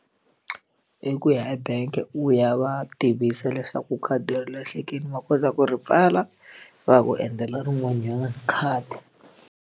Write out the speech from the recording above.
I ku ya ebank u ya va tivisa leswaku khadi ri lahlekile va kota ku ri pfala va ya ku endlela rin'wanyana khadi.